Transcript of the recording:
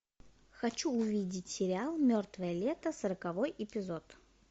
хочу увидеть сериал мертвое лето сороковой эпизод